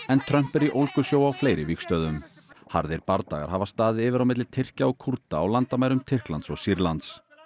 en Trump er í ólgusjó á fleiri vígstöðvum harðir bardagar hafa staðið yfir á milli Tyrkja og Kúrda á landamærum Tyrklands og Sýrlands